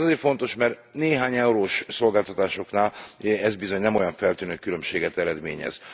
Ez azért fontos, mert néhány eurós szolgáltatásoknál ez bizony nem olyan feltűnő különbséget eredményez.